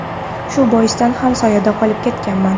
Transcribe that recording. Shu boisdan ham soyada qolib ketmaganman.